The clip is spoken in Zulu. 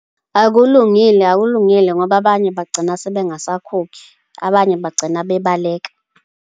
Akulungile, akulungile, ngoba abanye bagcina sebengasakhokhi, abanye bagcina bebalekela.